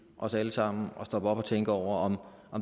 os alle sammen at stoppe op og tænke over om